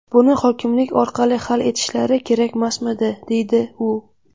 Buni hokimlik orqali hal etishlari kerakmasmidi?”, -- deydi u.